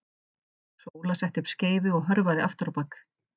Sóla setti upp skeifu og hörfaði aftur á bak.